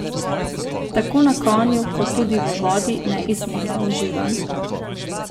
Tako na konju kot tudi v vodi neizmerno uživa.